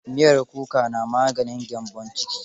Miyar kuka na maganin gyambon ciki.